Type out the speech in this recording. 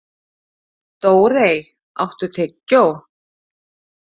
Dórey, áttu tyggjó?